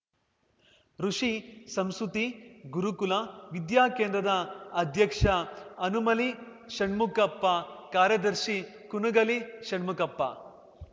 ಋುಷಿ ಸಂಸ್ಕೃತಿ ಗುರುಕುಲ ವಿದ್ಯಾಕೇಂದ್ರದ ಅಧ್ಯಕ್ಷ ಹನುಮಲಿ ಷಣ್ಮುಖಪ್ಪ ಕಾರ್ಯದರ್ಶಿ ಕುನುಗಲಿ ಷಣ್ಮುಖಪ್ಪ